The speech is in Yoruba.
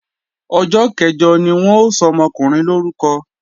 Ọjọ́ kẹ̀jọ ni wọ́n ó sọmọkùnrin lórúkọ